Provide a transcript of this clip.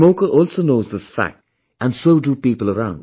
The smoker also knows this fact and so do people around